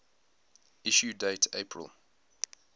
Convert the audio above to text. issue date april